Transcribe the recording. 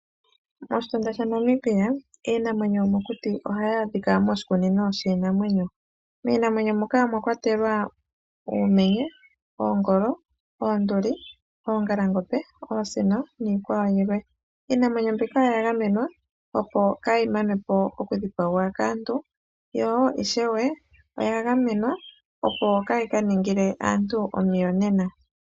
Moshitunda shaNamibia, iinamwenyo yomokuti ohayi adhika moshikunino shiinamwenyo. Miinamwenyo muka omwa kwatelwa Uumenye, Oongolo, Oonduli, Oongalangombe, Oosino niikwawo yilwe. Iinamwenyo mbika oya gamenwa, opo kaayi manwe po okudhipagwa kaantu, yo ishewe oya gamenwa, opo kaayi ka ningile aantu omiyonena.